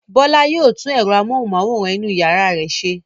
Bọ́lá yóò tún ẹ̀rọ amóhùmáwòhán inú ìyàrá rẹ̀ ṣe.